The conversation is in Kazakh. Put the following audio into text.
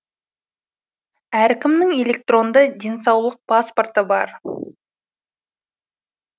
әркімнің электронды денсаулық паспорты бар